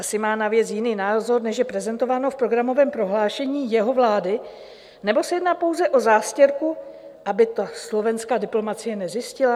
Asi má na věc jiný názor, než je prezentováno v programovém prohlášení jeho vlády, nebo se jedná pouze o zástěrku, aby to slovenská diplomacie nezjistila?